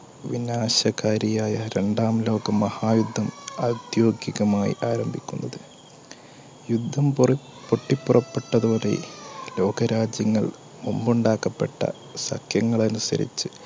വിനാശകാരിയായ രണ്ടാം ലോകമഹായുദ്ധം ഔദ്യോഗികമായി ആരംഭിക്കുന്നത്. യുദ്ധംപൊട്ടിപ്പുറപ്പെട്ടതോടെ ലോകരാജ്യങ്ങൾ മുമ്പുണ്ടാക്കപ്പെട്ട സഖ്യങ്ങൾ അനുസരിച്ച്